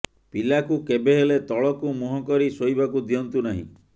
ପିଲାକୁ କେବେହେଲେ ତଳକୁ ମୁହଁ କରି ଶୋଇବାକୁ ଦିଅନ୍ତୁ ନାହିଁ